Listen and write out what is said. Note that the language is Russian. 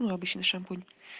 ну обычный шампунь